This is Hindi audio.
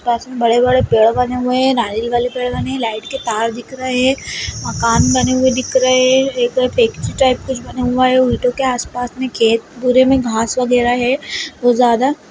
पास में बड़े-बड़े पेड़ बने हुए है नारियल वाले पेड़ बने हुए है लाइट के तार दिख रहे है मकान बने हुए दिख रहे है टाइप बने हुए है ऑटो के आस-पास में खेत पूरे में घास वगैरा है बहुत ज्यादा--